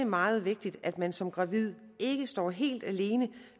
meget vigtigt at man som gravid ikke står helt alene